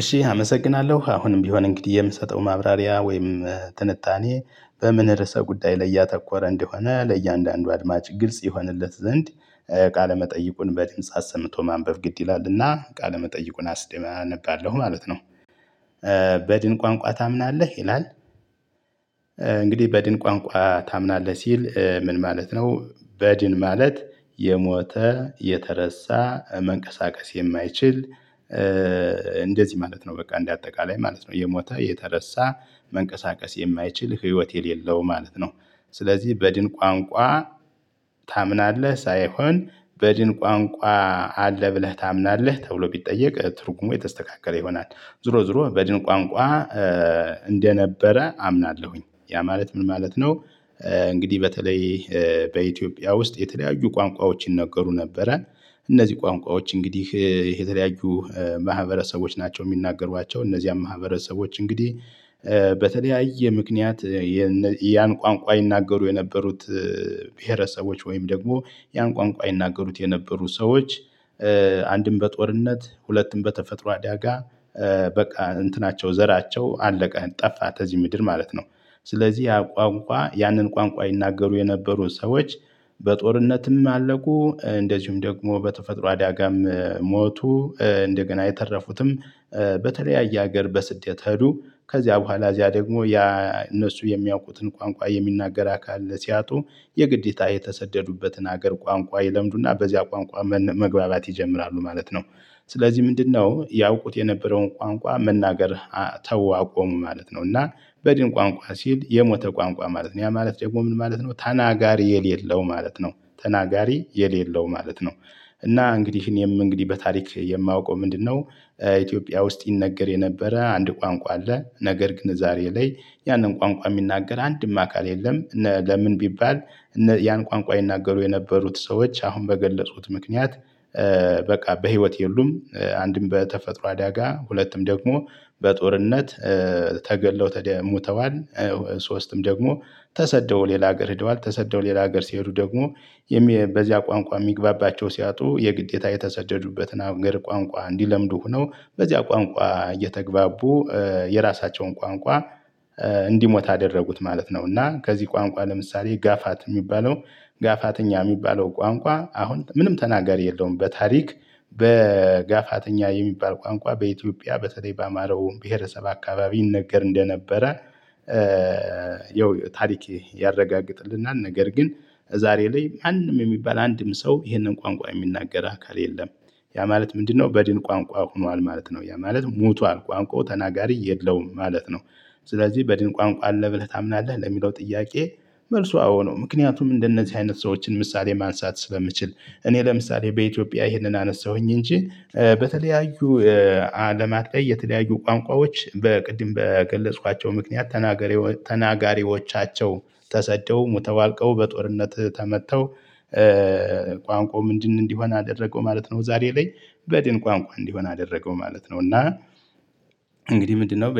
እሺ አመሰግናለሁ አሁንም ቢሆን እንግዲህ የምሰጠው ማብራሪያ ወይም ትንታኔ በምን ርዕሰ ጉዳይ ላይ ያተኮረ እንደሆነ ለእያንዳንዱ አድማጭ ግልጽ ይሆንለት ዘንድ ቃለ መጠይቁን በድምጽ አሰምቶ ማንበብ ግድ ይላልና ቃለ መጠይቁን አስደመ አነባለሁ ማለት ነው። በድን ቋንቋ ታምናለህ ይላል። እንግዲህ በድን ቋንቋ ታምናለህ ሲል ምን ማለት ነው? በድን ማለት የሞተ የተረሳ መንቀሳቀስ የማይችል። እንደዚህ ማለት ነው በቃ እንደ አጠቃላይ ማለት ነው። የሞተ የተረሳ መንቀሳቀስ የማይችል ህይወት የሌለው ማለት ነው። ስለዚህ በድን ቋንቋ ታምናለህ ሳይሆን በድን ቋንቋ አለ ብለህ ታምናለህ ተብሎ ቢጠየቅ ትርጉሙ የተስተካከለ ይሆናል። ዞሮ ዞሮ በድን ቋንቋ እንደነበረ አምናለሁኝ ያ ማለት ምን ማለት ነው? እንግዲህ በተለይ በኢትዮጵያ ውስጥ የተለያዩ ቋንቋዎች ይነገሩ ነበረ። እነዚህ ቋንቋዎች እንግዲህ የተለያዩ ማህበረሰቦች ናቸው የሚናገሯቸው እነዛም ማህበረሰቦች እንግዲህ። በተለያየ ምክንያት የን ያን ቋንቋ ይናገሩ የነበሩት። ብሄረሰቦች ወይም ደግሞ ያን ቋንቋ ይናገሩት የነበሩ ሰዎች። አንድም በጦርነት ሁለትም በተፈጥሮ አዳጋ በቃ እንትናቸው ዘራቸው አለቀ ጠፋ ተዚህ ምድር ማለት ነው። ስለዚህ ያ ቋንቋ ያንን ቋንቋ ይናገሩ የነበሩ ሰዎች። በጦርነትም አለቁ እንደዚሁም ደግሞ በተፈጥሮ አዳጋም ሞቱ። እንደገና የተረፉትም በተለያየ ሀገር በስደት ሄዱ ከዚያ በኋላ እዚያ ደግሞ ያ እነሱ የሚያውቁትን ቋንቋ የሚናገር አካል ሲያጡ። የግዴታ የተሰደዱበትን ሀገር ቋንቋ ይለምዱና በዚያ ቋንቋ መግባባት ይጀምራሉ ማለት ነው። ስለዚህ ምንድነው ያውቁት የነበረውን ቋንቋ መናገር ተው አቆሙ ማለት ነው። እና በድን ቋንቋ ሲል የሞተ ቋንቋ ማለት ነው። ያ ማለት ደግሞ ምን ማለት ነው? ተናጋሪ የሌለው ማለት ነው ተናጋሪ የሌለው ማለት ነው። እና እንግዲህ እኔም እንግዲህ በታሪክ የማውቀው ምንድነው? ኢትዮጵያ ውስጥ ይነገር የነበረ አንድ ቋንቋ አለ ነገር ግን ዛሬ ላይ ያንን ቋንቋ የሚናገር አንድም አካል የለም። ለምን ቢባል። ያን ቋንቋ ይናገሩ የነበሩት ሰዎች አሁን በገለጽሁት ምክንያት። በቃ በህይወት የሉም አንድም በተፈጥሮ አዳጋ ሁለቱም ደግሞ በጦርነት ተገለው ሙተዋል። ሶስትም ደግሞ ተሰደው ሌላ ሀገር ሄደዋል ተሰደው ሌላ ሀገር ሲሄዱ ደግሞ የሚ በዚያ ቋንቋ የሚግባባቸው ሲያጡ የግዴታ የተሰደዱበትን አገር ቋንቋ እንዲለምዱ ሆነው በዚያ ቋንቋ እየተግባቡ። የራሳቸውን ቋንቋ እንዲሞት አደረጉት ማለት ነው። እና ከዚህ ቋንቋ ለምሳሌ ጋፋት የሚባለው ጋፋተኛ የሚባለው ቋንቋ አሁን ምንም ተናጋሪ የለውም። በታሪክ በጋፋተኛ የሚባል ቋንቋ በኢትዮጵያ በተለይ በአምሃራው ብሄረሰብ አካባቢ ይነገር እንደነበረ። ያው ታሪክ ያረጋግጥልናል። ነገር ግን ዛሬ ላይ ማንም የሚባል አንድም ሰው ይሄንን ቋንቋ የሚናገር አካል የለም። ያ ማለት ምንድነው በድን ቋንቋ ሁኗል ማለት ነው። ያ ማለት ሞቷል ቋንቋው ተናጋሪ የለውም ማለት ነው። ስለዚህ በድን ቋንቋ አለ ብለህ ታምናለህ ለሚለው ጥያቄ መልሱ አዎ ነው። ምክንያቱም እንደነዚህ አይነት ሰዎችን ምሳሌ ማንሳት ስለምችል እኔ ለምሳሌ በኢትዮጵያ ይህንን አነሳሁኝ እንጂ። በተለያዩ አለማት የተለያዩ ቋንቋዎች በቅድም በገለጽኳቸው ምክንያት ተናገሪ ተናጋሪዎቻቸው ተሰደው ሙተው አልቀው በጦርነት ተመተው። ቋንቋው ምንድን እንዲሆን አደረገው ማለት ነው። ዛሬ ላይ በድን ቋንቋ እንዲሆን አደረገው ማለት ነው። እና እንግዲህ ምንድነው